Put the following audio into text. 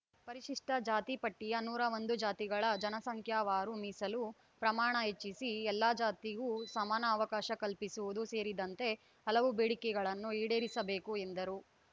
ಪರಿಶಿಷ್ಟಜಾತಿ ಪಟ್ಟಿಯ ನೂರ ಒಂದು ಜಾತಿಗಳ ಜನಸಂಖ್ಯಾವಾರು ಮೀಸಲು ಪ್ರಮಾಣ ಹೆಚ್ಚಿಸಿ ಎಲ್ಲ ಜಾತಿಗೂ ಸಮಾನ ಅವಕಾಶ ಕಲ್ಪಿಸುವುದು ಸೇರಿದಂತೆ ಹಲವು ಬೇಡಿಕೆಗಳನ್ನು ಈಡೇರಿಸಬೇಕು ಎಂದರು